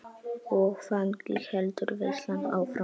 Og þannig heldur veislan áfram.